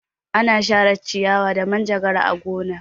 Ana share ciyawa da manjagara a gona.